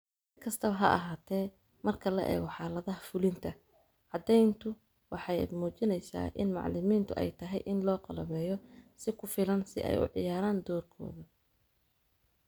Si kastaba ha ahaatee, marka la eego xaaladaha fulinta, caddayntu waxay muujinaysaa in macalimiintu ay tahay in loo qalabeeyo si ku filan si ay u ciyaaraan doorkooda.